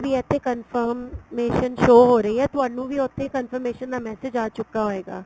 ਇੱਥੇ confirmation show ਹੋ ਰਹੀ ਹੈ ਤੁਹਾਨੂੰ ਵੀ ਉੱਥੇ confirmation ਦਾ message ਆ ਚੁੱਕਾ ਹੋਏਗਾ